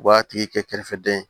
U b'a tigi kɛ kɛrɛfɛdɛn